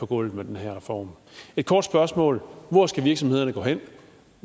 gulvet med den her reform et kort spørgsmål hvor skal virksomhederne gå hen